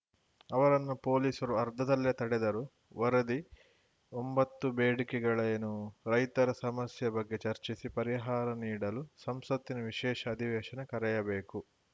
ಅವರನ್ನು ಪೊಲೀಸರು ಅರ್ಧದಲ್ಲೇ ತಡೆದರು ವರದಿ ಒಂಬತ್ತು ಬೇಡಿಕೆಗಳೇನು ರೈತರ ಸಮಸ್ಯೆ ಬಗ್ಗೆ ಚರ್ಚಿಸಿ ಪರಿಹಾರ ನೀಡಲು ಸಂಸತ್ತಿನ ವಿಶೇಷ ಅಧಿವೇಶನ ಕರೆಯಬೇಕು